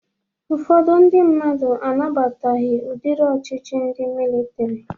Ụfọdụ ndị mmadụ anabataghị udiri ọchịchị ndị militri